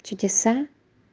чудеса